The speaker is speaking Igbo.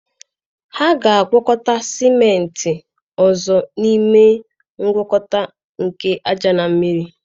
Ha ga-agwakọta sịmentị ọzọ n'ime ngwakọta nke ájá na mmiri